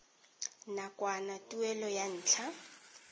nakwana tuelo ya ntlha